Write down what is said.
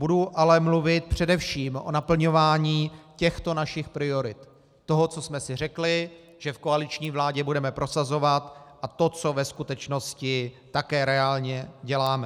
Budu ale mluvit především o naplňování těchto našich priorit, toho, co jsme si řekli, že v koaliční vládě budeme prosazovat, a to, co ve skutečnosti také reálně děláme.